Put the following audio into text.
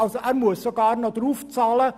Also muss er sogar noch draufzahlen.